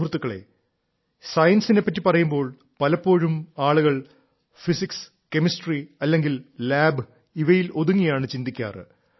സുഹൃത്തുക്കളേ സയൻസിനെ പറ്റി പറയുമ്പോൾ പലപ്പോഴും ആളുകൾ ഫിസിക്സ് കെമിസ്ട്രി അല്ലെങ്കിൽ ലാബ് ഇവയിൽ ഒതുങ്ങിയാണ് ചിന്താക്കാറ്